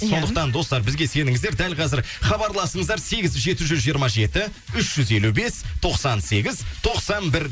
сондықтан достар бізге сеніңіздер дәл қазір хабарласыңыздар сегіз жеті жүз жиырма жеті үш жүз елу бес тоқсан сегіз тоқсан бір